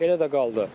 Elə də qaldı.